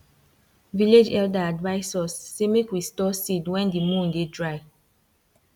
village elder advise us say make we store seed wen di moon dey dry